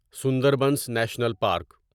Sundarbans national park